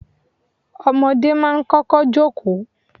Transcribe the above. Ọmọdé máa ń kọ́kọ́ jókòó.